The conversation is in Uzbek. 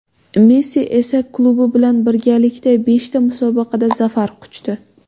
Messi esa klubi bilan birgalikda beshta musobaqada zafar quchdi.